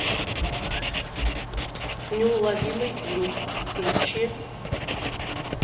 неуловимый люк включи